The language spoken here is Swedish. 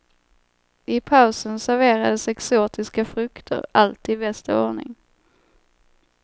I pausen serverades exotiska frukter, allt i bästa ordning.